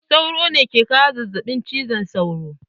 Sauro ne ke kawo zazzaɓin cizon sauro.